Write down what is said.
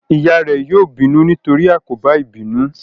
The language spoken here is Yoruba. Ìyá rẹ yóò bínú nítorí àkóbá ìbínú